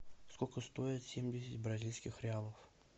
сколько стоит семьдесят бразильских реалов